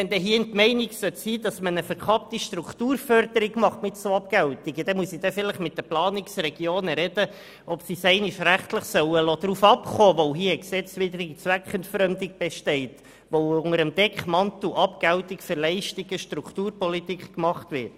Sollte hier die Meinung bestehen, man betreibe mit solchen Abgeltungen eine verkappte Strukturförderung, muss ich vielleicht mit den Planungsregionen sprechen und sie fragen, ob man es einmal rechtlich darauf an kommen lassen soll, weil hier eine gesetzeswidrige Zweckentfremdung besteht, indem unter dem Deckmantel der Abgeltungen für Leistungen Strukturpolitik betrieben wird.